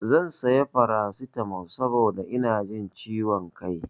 Zan sayo farasitamol saboda ina ji ciwo kai.